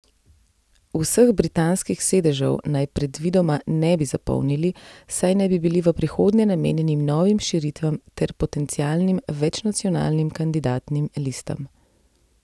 Vseh britanskih sedežev naj predvidoma ne bi zapolnili, saj naj bi bili v prihodnje namenjeni novim širitvam ter potencialnim večnacionalnim kandidatnim listam.